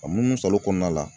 A muunusalo kɔɔna la